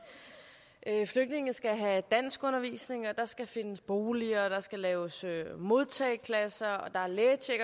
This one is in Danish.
flygtninge skal have danskundervisning og der skal findes boliger og der skal laves modtageklasser og der er lægetjek